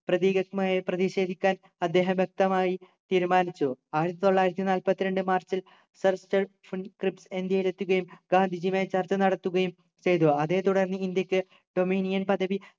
പ്രതീകാത്മകമായി പ്രതിഷേധിക്കാൻ അദ്ദേഹം വ്യക്തമായി തീരുമാനിച്ചു ആയിരത്തി തൊള്ളായിരത്തി നാല്പത്തിരണ്ട് മാർച്ചിൽ sir സ്റ്റാഫോർഡ് ക്രിപ്സ്സ് ഇന്ത്യയിൽ എത്തുകയും ഗാന്ധിജിയുമായി ചർച്ച നടത്തുകയും ചെയ്തു അതേ തുടർന്ന് ഇന്ത്യയ്ക്ക് dominion പദവി